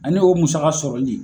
Ani o musaka sɔrɔli